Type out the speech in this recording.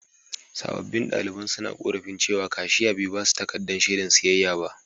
Sabobbin daliban suna ƙorafin cewa kashiya bai ba su takaddan shaidan siyayya ba.